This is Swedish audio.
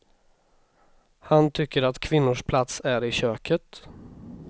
Han tycker att kvinnors plats är i köket.